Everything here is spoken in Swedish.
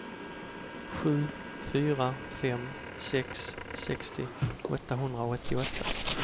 sju fyra fem sex sextio åttahundraåttioåtta